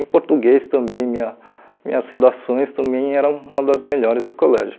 Em português também, minha minhas redações também eram uma das melhores do colégio.